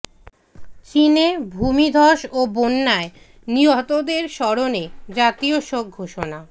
চীনে ভূমিধস ও বন্যায় নিহতদের স্মরণে জাতীয় শোক ঘোষণা